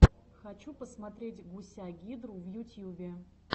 хочу посмотреть гуся гидру в ютьюбе